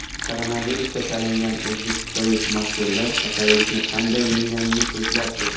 Koronavirusga chalingan o‘zbekistonlik mashhurlar kasallikni qanday yengganini so‘zlab berdi .